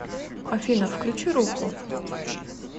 афина включи руху